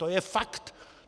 To je fakt.